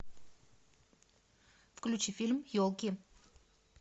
включи фильм елки